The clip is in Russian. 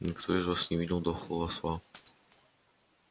никто из вас не видел дохлого осла